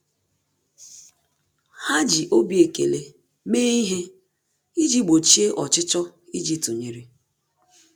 Há jì obi ekele méé ihe iji gbochie ọchịchọ íjí tụnyere.